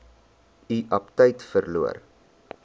u aptyt verloor